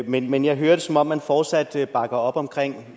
men men jeg hører det som om man fortsat bakker op omkring